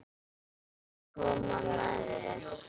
Má ég koma með þér?